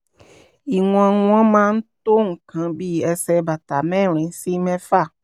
ìwọ̀n wọn máa ń tó nǹkan bí ẹsẹ̀ bàtà mẹ́rin sí mẹ́fà